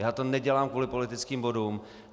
Já to nedělám kvůli politickým bodům.